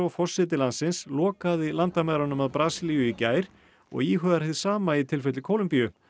forseti landsins lokaði landamærunum að Brasilíu í gær og íhugar hið sama í tilfelli Kólumbíu